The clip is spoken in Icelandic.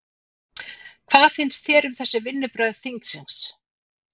Hvað finnst þér um þessi vinnubrögð þingsins?